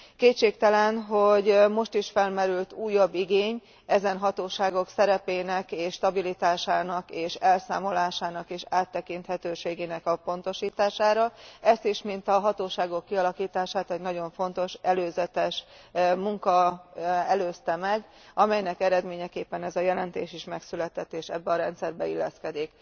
Kétségtelen, hogy most is felmerült újabb igény ezen hatóságok szerepének és stabilitásának, elszámolásának és áttekinthetőségének a pontosítására. Ezt is, mint a hatóságok kialakítását egy nagyon fontos előzetes munka előzte meg, amelynek eredményeképpen ez a jelentés is megszületett és ebbe a rendszerbe illeszkedik.